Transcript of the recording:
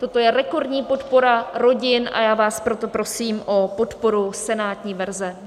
Toto je rekordní podpora rodin, a já vás proto prosím o podporu senátní verze.